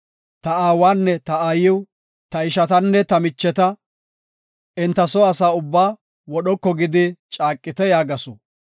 Ta aawanne ta aayiw, ta ishatanne ta micheta eta soo asaa ubbaa wodhoko gidi caaqite” yaagasu.